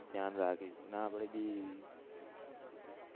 ધ્યાન રાખીશું ને આપડે ભી